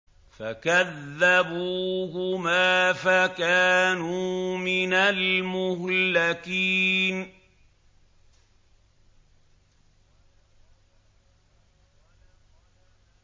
فَكَذَّبُوهُمَا فَكَانُوا مِنَ الْمُهْلَكِينَ